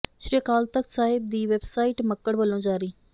ਸ੍ਰੀ ਅਕਾਲ ਤਖਤ ਸਾਹਿਬ ਦੀ ਵੈੱਬਸਾਈਟ ਮੱਕੜ ਵਲੋਂ ਜਾਰੀ